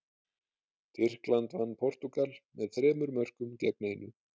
Tyrkland vann Portúgal með þremur mörkum gegn einu.